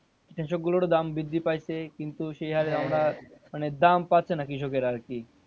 এসব গুলোর ও দাম বৃদ্ধি পাইছে কিন্তু সেই হারে আমরা মানে দাম পাচ্ছে না কৃষকেরা আরকি।